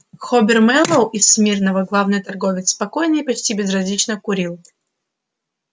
хобер мэллоу из смирного главный торговец спокойно и почти безразлично курил